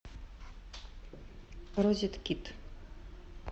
розеткид